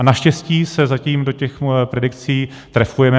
A naštěstí se zatím do těch predikcí trefujeme.